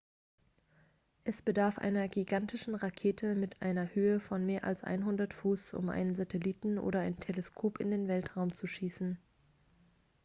es bedarf einer gigantischen rakete mit einer höhe von mehr als 100 fuß um einen satelliten oder ein teleskop in den weltraum zu schießen